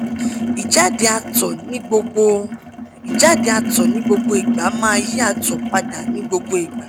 ìjáde àtọ̀ nigbogbo ìjáde àtọ̀ nigbogbo Ìgbà ma yi àtọ̀ pada ni gbogbo Ìgbà